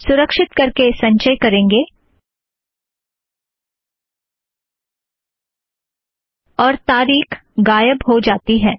सुरक्षीत करके संचय करेंगे और तारीख गायब हो जाती है